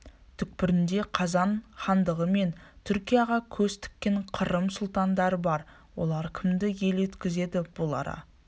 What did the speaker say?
түкпірінде қазан хандығы мен түркияға көз тіккен қырым сұлтандары бар олар кімді ел еткізеді бұл ара